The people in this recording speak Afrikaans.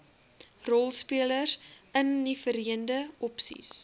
rolspelers inniverende opsies